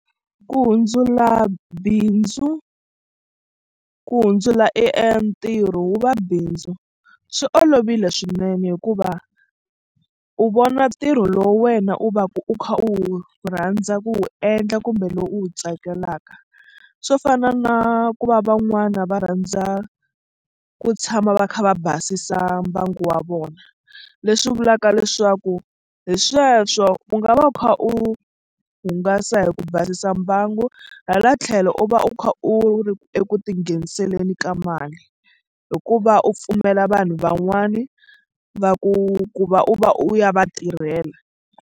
Ku hundzula bindzu ku hundzula e ntirho wu va bindzu swi olovile swinene hikuva u vona ntirho lowu wena u va ku u kha u rhandza ku wu endla kumbe lowu u wu tsakelaka swo fana na ku va van'wana va rhandza ku tshama va kha va basisa mbangu wa vona leswi vulaka leswaku hi sweswo u nga va u kha u hungasa hi ku basisa mbangu hala tlhelo u va u kha u ri eku tingheniseleni ka mali hikuva u pfumela vanhu van'wani va ku ku va u va u ya va tirhela.